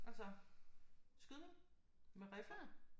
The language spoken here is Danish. Altså skydning med riffel